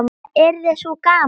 Það yrði svo gaman.